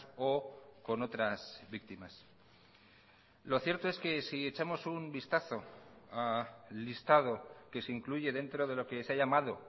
o con otras víctimas lo cierto es que si echamos un vistazo al listado que se incluye dentro de lo que se ha llamado